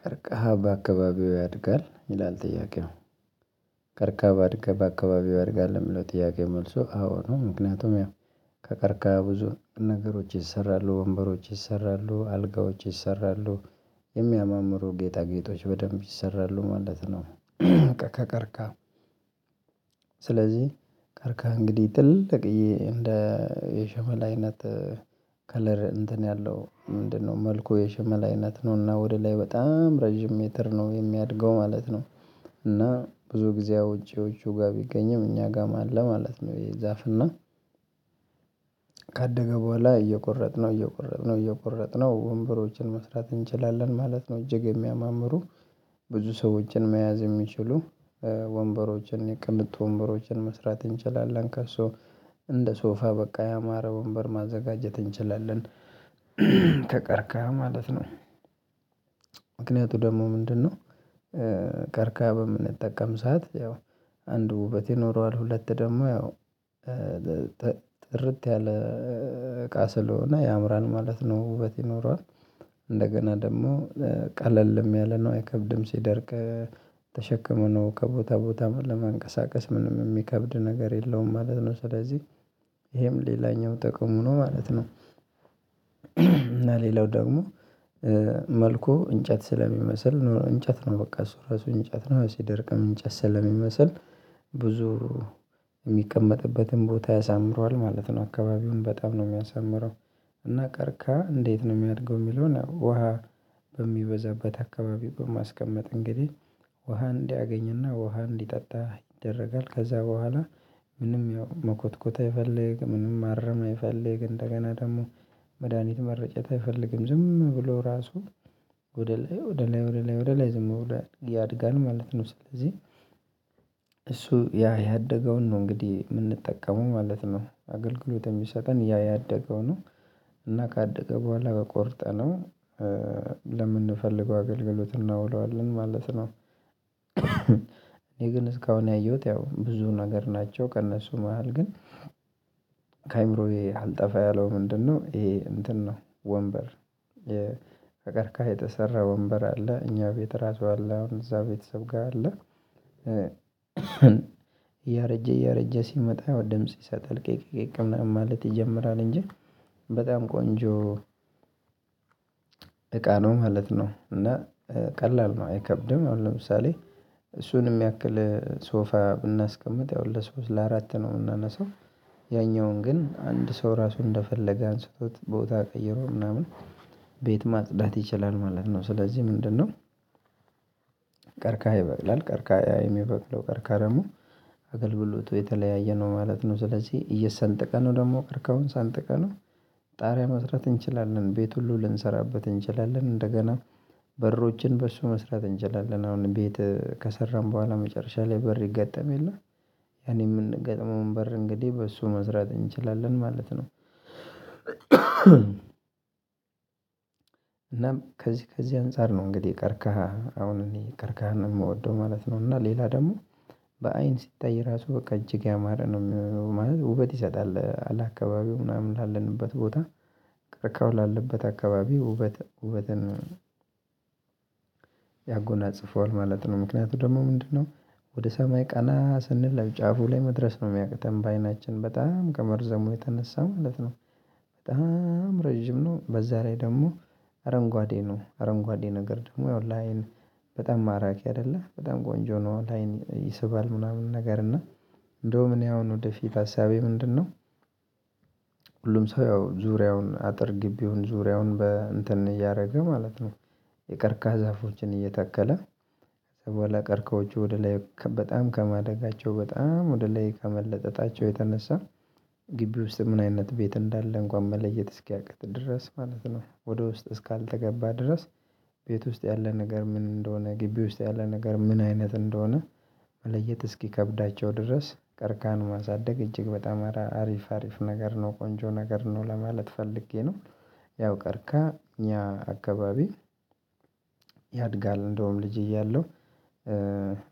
ቀርቃሃ በአካባቢው ያድጋል? ይላል ጥያቄው ቀርከሃ በአካባቢው ያድጋል ልምለው ጥያቄ መልሱ አዎ ነው ምክንያቱም ያው ከቀርከሃ ብዙ ነገሮች ይሰራሉ ወንበሮች ይሰራሉ አልጋዎች ይሰራሉ የሚያማምሩ ጌጣጌጦች በደንብ ይሰራሉ ማለት ነው። ከቀከርካ ስለዚህ ከከከርካ እንግዲህ ጥልቅዬ እንደ የሸመል አይነት ከለር እንትን ያለው ምንድነው መልኩ የሸመል አይነት ነው። እና ወደ ላይ በጣም ረጅም ሜትር ነው የሚያድገው ማለት ነው እና ብዙ ጊዜ አውጄዎቹ ጋር ቢገኝም እኛ ጋም አለ ማለት ነው የዛፍ እና ካደገ ቦኋላ እየቆረጥነው እየቆረጥነው እየቆረጥነው ወንበሮችን መስራት እንችላለን ማለት ነው። እጅግ የሚያማምሩ ብዙ ሰዎችን መያዝ የሚችሉ ወንበሮችን የቅንጡ ወንበሮችን መስራት እንችላለን ከሶ እንደ ሶፋ በቃ ያማረ ወንበር ማዘጋጀት እንችላለን። ከቀረከህፈሀ ማለት ነው ምክንያቱ ደግሞ ምንድነው? ከርካ በምንጠቀም ዓሳት ያው አንዱ ውበት ይኖረዋል ሁለት ደግሞ ያው ጥርት ያለ እቃ ስለሆነ ያምራል ማለት ነው። ውበት ይኖራል እንደገና ደግሞ ቀለልም ያለ ነው አይከብድም ሲደርቅ ተሸክሞ ነው ከቦታ ቦታ ለመንቀሳቀስ ምንም የሚከብድ ነገር የለውም ማለት ነው ስለዚህ ይሄም ሌላኛው ጥቅሙ ነው ማለት ነው እና ሌላው ደግሞ መልኩ እንጨት ስለሚመስል እንጨት ነው በቃ እሱ ራሱ እንጨት ነው ሲደርቅም እንጨት ስለሚመስል ብዙ የሚቀመጥበትን ቦታ ያሳምረዋል ማለት ነው አካባቢውን በጣም ነው የሚያሳምረው። እና ቀርከሃ እንዴት ነው የሚያድገው የሚለውን ውሃ በሚበዛበት አካባቢ በማስቀመጥ እንግዲህ ውሃ እንዲያገኝና ውሃ እንዲጠጣ ይደረጋል ከዛ ቦኋላ ምንም ያው መኮትኮት አይፈልግም። ምንም ማረም አይፈልግም እንደገና ደግሞ መድሃኒት መረጨት አይፈልግም ዝም ብሎ ራሱ ወደ ላይ ወደ ላይ ወደ ላይ ወደ ላይ ዝም ብሎ ያድጋል ማለት ነው ስለዚህ እሱ ያ ያደገውን ነው እንግዲህ የምንጠቀመው ማለት ነው። አገልግሎት የሚሰጠን ያ ያደገው ነው እና ካደገ ቦኋላ ቆርጠነው ለምንፈልገው አገልግሎት እናውለዋለን ማለት ነው። እኔ ግን እስካሁን ያየሁት ያው ብዙ ነገር ናቸው ከእነሱ መሃል ግን ከአእምሮዬ አልጠፋ ያለው ምንድነው ይሄ እንትን ነው ወንበር ከቀርካህሃ የተሰራ ወንበር አለ እኛ ቤት ራሱ አለ አሁን እዛ ቤተሰብ ጋር አለ። እያረጀ እያረጀ ሲመጣ ወደ ድምጽ ይሰጥል ቅቅ ቅቅ ምናምን ማለት ይጀምራል እንጂ በጣም ቆንጆ እቃ ነው ማለት ነው እና ቀላል ነው አይከብድም አሁን ለምሳሌ እሱንም ያክል ሶፋ ብናስቀምጥ ያው ለሶስት ለአራት ነው የምናነሳው ያኛውን ግን አንድ ሰው ራሱ እንደፈለገ አንስቶት ቦታ ቀይሮ ምናምን ቤት ማጽዳት ይችላል ማለት ነው ስለዚህ ምንድነው? ቀርካሃ ይበቅላል ቀርካሃ የሚበቅለው ቀርካሃ ደግሞ አገልግሎቱ የተለያየ ነው ማለት ነው። ስለዚህ እየሰንጠቅነው ደግሞ ቀርካሃሁን ሰንጥቀነው ጣሪያ መስራት እንችላለን ቤት ሁሉ ልንሰራበት እንችላለን እንደገና በሮችን በሱ መስራት እንችላለን አሁን ቤት ከሰራን ቦኋላ መጨረሻ ላይ በር ይገጠም የለ ያኔ የምንገጥመውን በር እንግዲህ በሱ መስራት እንችላለን ማለት ነው እናም ከዚህ ከዚህ አንፃር ነው እንግዲህ ቀርካህ አሁን እኔ ቀርካህ ነው የምወደው ማለት ነው። እና ሌላ ደግሞ በአይን ሲታይ ራሱ በቃ እጅግ ያማረ ነው ምህነው ማለት ውበት ይሰጣል ለ አካባቢው ምናምን ላለንበት ቦታ ቀርካሃው ላለበት አካባቢ ውበት ውበትን ያጎናጽፈዋል ማለት ነው ምክንያቱ ደግሞ ምንድነው ወደ ሰማይ ቀና ስንለብ ጫፉ ላይ መድረስ ነው የሚያቅተን በአይናችን በጣም ከመርዘሙ የተነሳ ማለት ነው በጣም ረጅም ነው በዛ ላይ ደግሞ አረንጓዴ ነው አረንጓዴ ነገር ደግሞ ያው ላይን በጣም ማራኪ አይደለም በጣም ቆንጆ ነው ላይን ይሰባል ምናምን ነገር እና እንደውም እኔ አሁን ወደፊት ሀሳቤ ምንድነው? ሁሉም ሰው ያው ዙሪያውን አጥር ግቢውን ዙሪያውን በእንትን እያረገ ማለት ነው የቀርካሃ ዛፎችን እየታከለ ከዛ ቦኋላ ቀርከሆቹ ወደ ላይ በጣም ከማደጋቸው በጣም ወደ ላይ ከመለጠጣቸው የተነሳ ግቢ ውስጥ ምን አይነት ቤት እንዳለ እንኳን መለየት እስኪያቅት ድረስ ማለት ነው ወደ ውስጥ እስካልተገባ ድረስ ቤት ውስጥ ያለ ነገር ምን እንደሆነ ግቢ ውስጥ ያለ ነገር ምን አይነት እንደሆነ መለየት እስኪከብዳቸው ድረስ ቀርካሃን ማሳደግ እጅግ በጣም አሪፍ አሪፍ ነገር ነው ቆንጆ ነገር ነው ለማለት ፈልጌ ነው ያው ቀርካሃ እኛ አካባቢ ያድጋል እንደውም ልጅ እያለሁ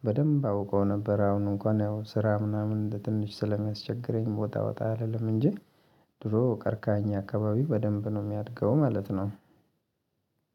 በደንብ አውቀው ነበር አሁን እንኳን ያው ስራ ምናምን ትንሽ ስለሚያስቸግረኝ ወጣ ወጣ አልልም እንጂ ድሮ ቀርካሃ አኛ አካባቢ በደንብ ነው የሚያድገው ማለት ነው።